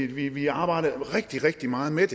vi vi arbejdede rigtig rigtig meget med